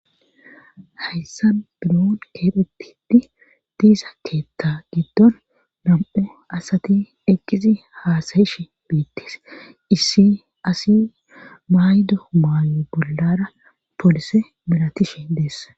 hayssa binoon keephetidi diisa keetta giddon nam7e asati eqqizi haasayish biittis issi asi maydo maayo bollara poolise milatishi deess